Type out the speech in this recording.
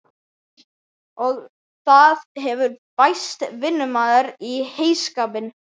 Og það hefur bæst vinnumaður í heyskapinn.